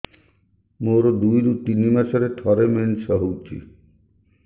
ମୋର ଦୁଇରୁ ତିନି ମାସରେ ଥରେ ମେନ୍ସ ହଉଚି